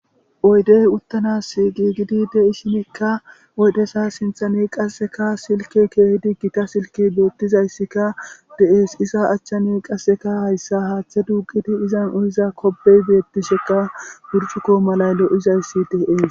oydey uttanas giigidi deisinikka oydesa sinthani qasseka silke keehidi gita silki beettizayssika deees isa achchani qasseka hayssa haaththe dugidi izan uniza kobey beettisheka burcuko malay lo7izayssi dees